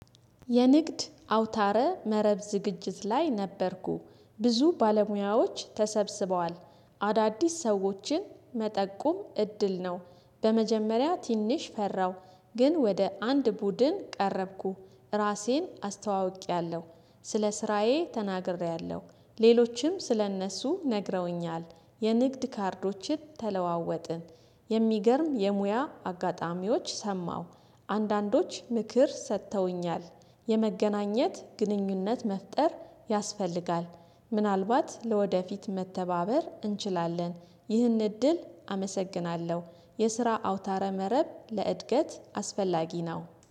የንግድ አውታረ መረብ ዝግጅት ላይ ነበርኩ ብዙ ባለሙያዎች ተሰብስበዋል አዳዲስ ሰዎችን መጠቁም እድል ነው። በመጀመሪያ ትንሽ ፈራው ግን ወደ አንድ ቡድን ቀረብኩ። ራሴን አስተዋውቄያለሁ ስለ ስራዬ ተናግሬያለሁ ሌሎችም ስለእነሱ ነግረውኛል የንግድ ካርዶችን ተለዋወጥን። የሚገርም የሙያ አጋጣሚዎች ሰማሁ አንዳንዶች ምክር ሰጥተውኛል የመገናኘት ግንኙነት መፍጠር ያስፈልጋል። ምናልባት ለወደፊት መተባበር እንችላለን። ይህን እድል አመሰግናለሁ። የስራ አውታረ መረብ ለእድገት አስፈላጊ ነው